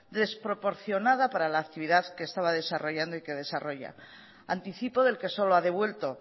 desproporcionada para la actividad que estaba desarrollando y que desarrolla anticipo del que solo ha devuelto